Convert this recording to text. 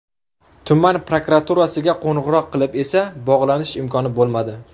Tuman prokuraturasiga qo‘ng‘iroq qilib esa bog‘lanish imkoni bo‘lmadi.